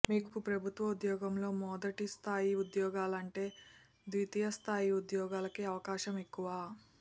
మీకు ప్రభుత్వ ఉద్యోగంలో మొది స్థాయి ఉద్యోగాలంటే ద్వితీయస్థాయి ఉద్యోగాలకి అవకాశం ఎక్కువ